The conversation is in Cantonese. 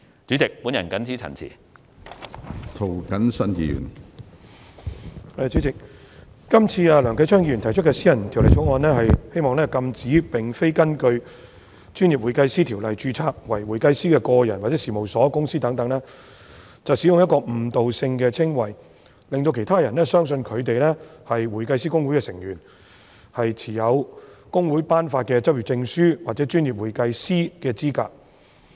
主席，梁繼昌議員提出的私人條例草案《2018年專業會計師條例草案》旨在禁止並非根據《專業會計師條例》註冊為會計師的個人、事務所或公司等使用具誤導性的稱謂，令到其他人相信他們是香港會計師公會成員，持有公會頒發的執業證書或專業會計師的資格。